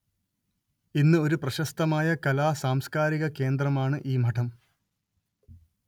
ഇന്ന് ഒരു പ്രശസ്തമായ കലാ സാംസ്കാരിക കേന്ദ്രമാണ് ഈ മഠം